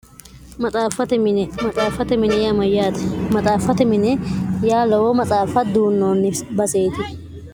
xmaxaaffate mine yaamayyaati maxaaffate mine yaa lowo matsaaffa duunnoonni batseeti